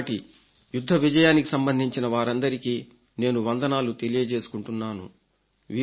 65 నాటి యుద్ధ విజయానికి సంబంధించిన వారందరికీ నేను వందనాలు తెలియజేసుకుంటున్నాను